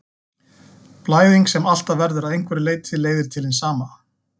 Blæðing sem alltaf verður að einhverju leyti leiðir til hins sama.